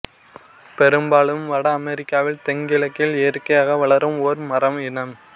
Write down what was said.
பெரும்பாலும் வட அமெரிக்காவில் தெங்கிழக்கில் இயற்கையாக வளரும் ஓர் மர இனம்